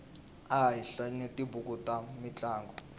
a hi hlayeni tibuku ta mintlangu